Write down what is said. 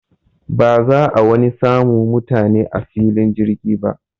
Ba za'a wani samu mutane a filin jirgin ba.